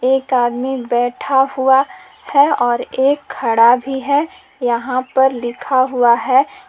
एक आदमी बैठा हुआ है और एक खड़ा भी है। यहां पर लिखा हुआ है।